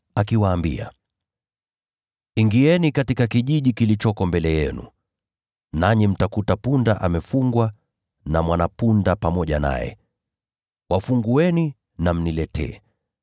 akawaambia, “Nendeni katika kijiji kilichoko mbele yenu, nanyi mtamkuta punda amefungwa hapo, na mwana-punda pamoja naye. Wafungueni na mniletee.